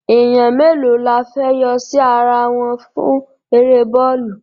Èèyàn mélòó la fẹ́ yọ sí ara wọn fún eré bọ́ọ̀lù?